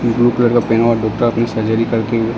blue colour क --